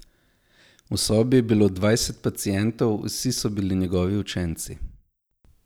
V sobi je bilo dvajset pacientov, vsi so bili njegovi učenci.